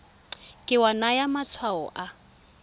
ke wa naya matshwao a